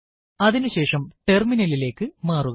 അതിനുശേഷം terminal ലിലേക്ക് മാറുക